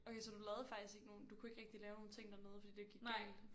Okay så du lavede faktisk ikke nogen du kunne ikke rigtig lave nogle ting dernede fordi det gik galt